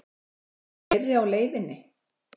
Eru fleiri á leiðinni?